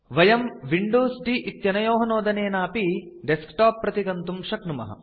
वयं Windows D इत्यनयोः नोदनेनापि डेस्कटॉप प्रति गन्तुं शक्नुमः